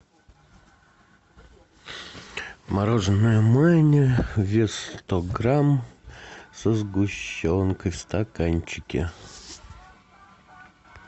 мороженое маня вес сто грамм со сгущенкой в стаканчике